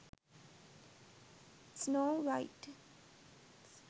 snow white